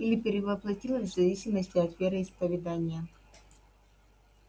или перевоплотилась в зависимости от вероисповедания